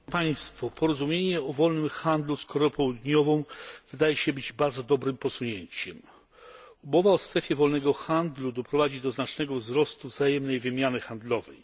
Panie przewodniczący! Porozumienie o wolnym handlu z Koreą Południową wydaje się być bardzo dobrym posunięciem. Umowa o strefie wolnego handlu doprowadzi do znacznego wzrostu wzajemnej wymiany handlowej.